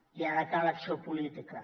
i ara cal acció política